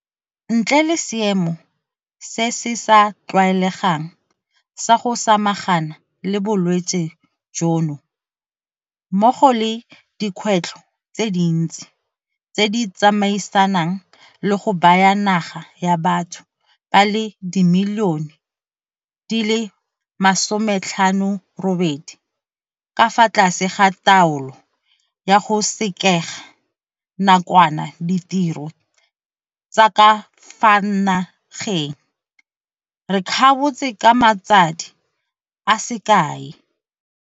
Ntle le seemo se se sa tlwaelegang sa go samagana le bolwetse jono mmogo le dikgwetlho tse dintsi tse di tsamaisanang le go baya naga ya batho ba le dimilione di le 58 ka fa tlase ga taolo ya go sekega nakwana ditiro tsa ka fa na geng, re kgabotse ka matsadi a se kae.